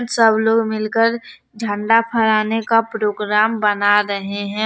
सब लोग मिलकर झंडा फहराने का प्रोग्राम बना रहे हैं।